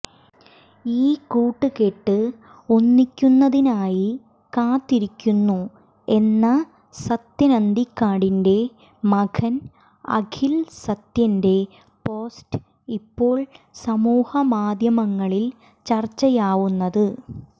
ഈ കൂട്ടുകെട്ട് ഒന്നിക്കുന്നതിനായി കാത്തിരിക്കുന്നു എന്ന സത്യൻ അന്തിക്കാടിന്റെ മകൻ അഖിൽ സത്യന്റെ പോസ്റ്റ് ഇപ്പോൾ സമൂഹ മാധ്യമങ്ങളിൽ ചർച്ചയാവുന്നത്